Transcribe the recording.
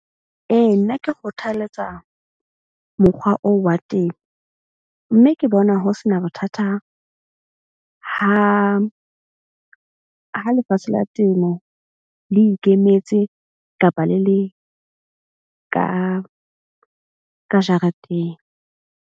Ee, nna ke kgothaletsa mokgwa oo wa temo. Mme ke bona ho sena bothata ha lefatshe la temo le ikemetse kapa le le ka jareteng.